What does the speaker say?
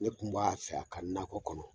Ne kun b'a fɛ a ka nakɔ kɔnɔ